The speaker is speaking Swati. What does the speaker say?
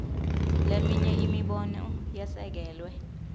leminye imibono yesekelwe